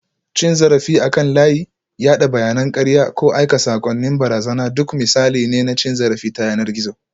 Cin zarafi akan layi, yada bayanan karya, ko aika saƙonnin barazana duk misalai ne na cin zarafi ta yanar gizo